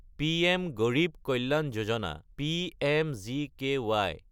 PM Garib Kalyan Yojana (পিএমজিকেই)